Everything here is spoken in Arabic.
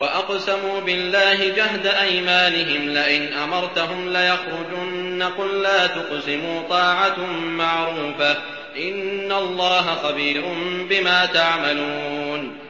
۞ وَأَقْسَمُوا بِاللَّهِ جَهْدَ أَيْمَانِهِمْ لَئِنْ أَمَرْتَهُمْ لَيَخْرُجُنَّ ۖ قُل لَّا تُقْسِمُوا ۖ طَاعَةٌ مَّعْرُوفَةٌ ۚ إِنَّ اللَّهَ خَبِيرٌ بِمَا تَعْمَلُونَ